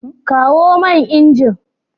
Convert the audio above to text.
Kawo man inji.